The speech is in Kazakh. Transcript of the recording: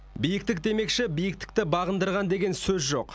биіктік демекші биіктікті бағындырған деген сөз жоқ